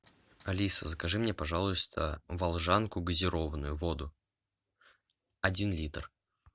алиса закажи мне пожалуйста волжанку газированную воду один литр